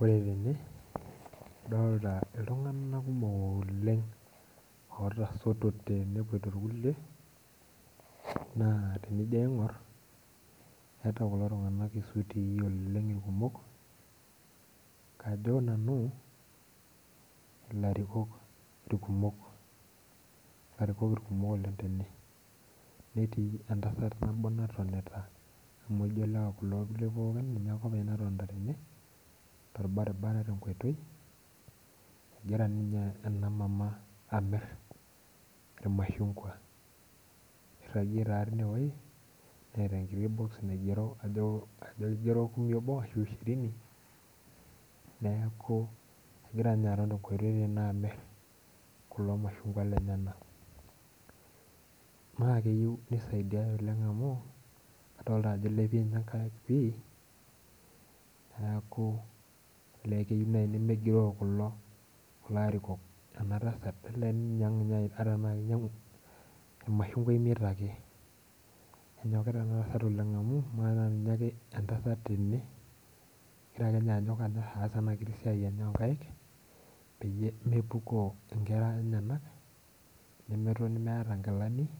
Ore tene adolita iltunganak kumok otasotote nepoito irkulie ,naa teningor eeta kulo tunganak isutii oleng irkumok kajo nanu ilarikok irkumok oleng tene. netii entasat naatonita amu ijo lewa kulo kulie pookin amu ijo ninye ake openy naatonita tene torbaribaran tenkoitoi ,egira ninye ena mamaa amir irmashungua irajie tine weji neeta enkiti boxi naigero tine kajo kumi obo ashu shirini neeku egira ninye aton tenkoitoi teneweji amir kulo mashungwa lenyenak. naa kleyieu neisidiae oleng amu adol ninye ajo eilepie nkaik pi neeku olee keyieu naaji nemegiroo kulo arikok ena tasat ata tenaa kinyangu irmashungwa imiet ake ,enyokita ena tasat oleng amu ama naa tenaa ninye ake entasat tene egira ake ninye anyok aas ena siai enye oonkaek peyie mepukoo nkera enyenak nemetoni meeta nkilanik